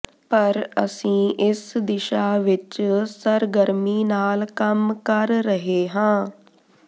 ਪਰ ਅਸੀਂ ਇਸ ਦਿਸ਼ਾ ਵਿੱਚ ਸਰਗਰਮੀ ਨਾਲ ਕੰਮ ਕਰ ਰਹੇ ਹਾਂ